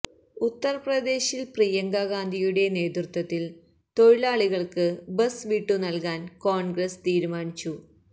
ഉത്തർപ്രദേശിൽ പ്രിയങ്കാ ഗാന്ധിയുടെ നേതൃത്വത്തിൽ തൊഴിലാളികൾക്ക് ബസ് വിട്ടു നൽകാൻ കോൺഗ്രസ് തീരുമാനിച്ചു